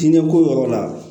Diinɛ ko yɔrɔ la